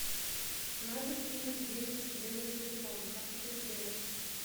надо кинуть денег себе на телефон как это сделать